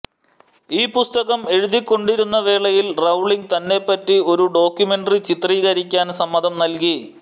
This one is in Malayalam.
ഈ പുസ്തകം എഴുതിക്കൊണ്ടിരുന്ന വേളയിൽ റൌളിംഗ് തന്നെപ്പറ്റി ഒരു ഡോക്യുമെന്ററി ചിത്രീകരിക്കാൻ സമ്മതം നൽകി